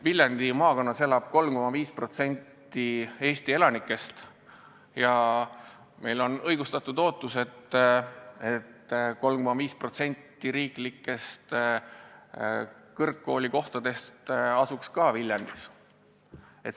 Viljandi maakonnas elab 3,5% Eesti elanikest ja meil on õigustatud ootus, et 3,5% riiklikest kõrgkoolikohtadest asuks Viljandis.